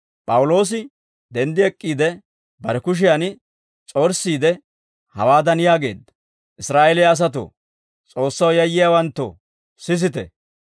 P'awuloosi denddi ek'k'iide, bare kushiyan s'orssiide, hawaadan yaageedda; «Israa'eeliyaa asatoo, S'oossaw yayyiyaawanttoo sisite.